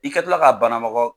I kɛ tɔla ka banamɔgɔ.